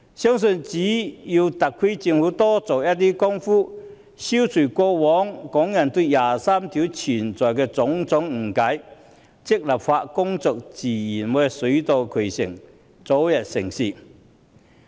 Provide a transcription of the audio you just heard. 相信只要特區政府多做工夫，消除過往港人對第二十三條的種種誤解，立法工作自然會水到渠成，早日成事。